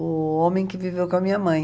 O homem que viveu com a minha mãe.